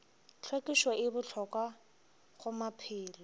hlwekišo e bohlokwa go maphelo